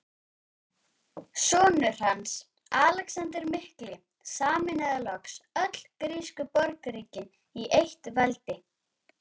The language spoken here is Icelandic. Sonur hans, Alexander mikli, sameinaði loks öll grísku borgríkin í eitt veldi.